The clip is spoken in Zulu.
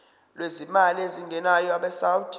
lwezimali ezingenayo abesouth